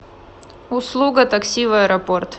услуга такси в аэропорт